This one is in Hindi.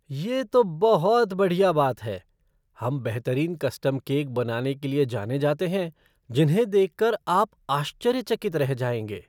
ये तो बहुत बढ़िया बात है! हम बेहतरीन कस्टम केक बनाने के लिए जाने जाते हैं जिन्हें देख कर आप आश्चर्यचकित रह जाएंगे।